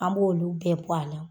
An b'olu bɛɛ bɔ a la.